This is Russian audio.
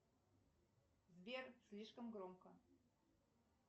сбер слишком громко